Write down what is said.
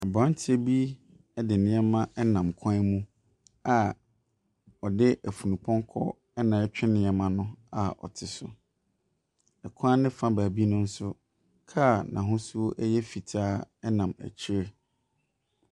Aberanteɛ bi de nneɛma nam kwan mu a ɔde afunupɔnkɔ na ɛretwe nneɛma no a ɔte so. Kwan ne fa beebi no nso, kaa a n’ahosuo yɛ fitaa nam akyire.